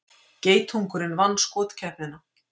Geitungurinn vann skotkeppnina